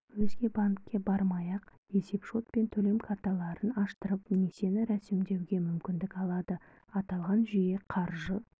өзге банкке бармай-ақ есепшот пен төлем картаралын аштырып несиені рәсімдеуге мүмкіндік алады аталған жүйе қаржы